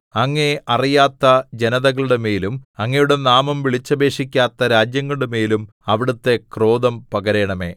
അങ്ങയെ അറിയാത്ത ജനതകളുടെമേലും അങ്ങയുടെ നാമം വിളിച്ചപേക്ഷിക്കാത്ത രാജ്യങ്ങളുടെമേലും അവിടുത്തെ ക്രോധം പകരണമേ